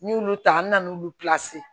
N'i y'olu ta n bɛ na n'olu